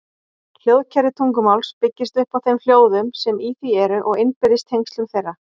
Hljóðkerfi tungumáls byggist upp á þeim hljóðum sem í því eru og innbyrðis tengslum þeirra.